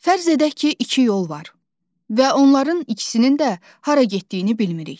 Fərz edək ki, iki yol var və onların ikisinin də hara getdiyini bilmirik.